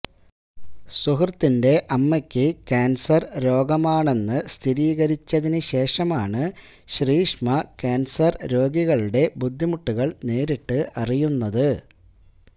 സുഹൃത്തിന്റെ അമ്മയ്ക്ക് ക്യാന്സര് രോഗമാണെന്ന് സ്ഥിരീകരിച്ചതിനു ശേഷമാണ് ശ്രീഷ്മ ക്യാന്സര് രോഗികളുടെ ബുദ്ധിമുട്ടുകള് നേരിട്ട് അറിയുന്നത്